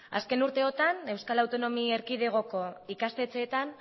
azken urteotan euskal autonomi erkidegoko ikastetxeetan